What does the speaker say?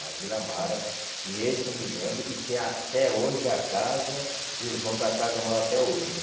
Na Vila Amara, que esse eu me lembro, e tem a até hoje a casa, e os donos da casa moram até hoje.